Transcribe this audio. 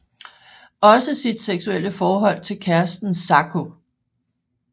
Også sit seksuelle forhold til kæresten Zako